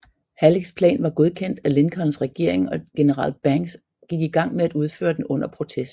Hallecks plan var godkendt af Lincolns regering og general Banks gik i gang med at udføre den under protest